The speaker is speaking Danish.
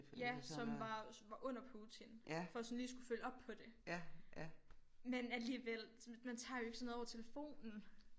Ja som var som var under Putin for sådan lige at skulle følge op på det men alligevel sådan man tager jo ikke sådan noget over telefonen